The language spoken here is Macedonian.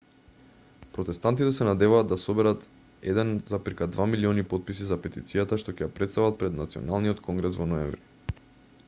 протестантите се надеваат да соберат 1,2 милиони потписи за петицијата што ќе ја претстават пред националниот конгрес во ноември